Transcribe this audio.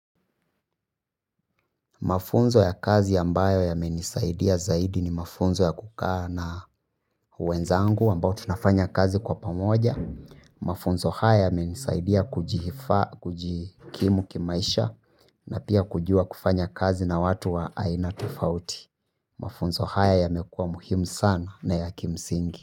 Mafunzo ya kazi ambayo yamenisaidia zaidi ni mafunzo ya kukaa na wenzangu ambao tunafanya kazi kwa pamoja. Mafunzo haya yamenisaidia kujihifa, kujikimu kimaisha na pia kujua kufanya kazi na watu wa aina tofauti. Mafunzo haya yamekuwa muhimu sana na ya kimsingi.